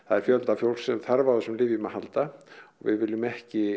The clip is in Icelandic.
er fjöldi fólks sem þarf á þessum lyfjum að halda og við viljum ekki